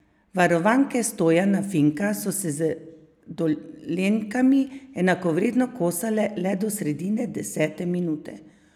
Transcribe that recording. Varovanke Stojana Finka so se z Dolenjkami enakovredno kosale le do sredine desete minute.